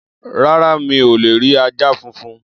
Rárá, mi ò lè rí ajá funfun.